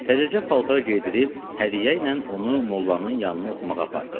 Təzəcə paltar geydirib hədiyyə ilə onu mollanın yanına oxumağa apardı.